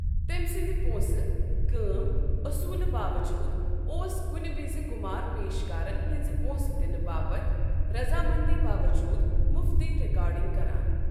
تمہِ سٕنٛد پونٛسہٕ ، كٲم اصوٗلہٕ باوجوٗد ،ا وس كنہ وِزِ كُمار پیشكارن ہنزِ پونٛسہٕ دنہٕ باپتھ رضامندی باوجوٗد مفتٕے رِكارڈِنگ كران ۔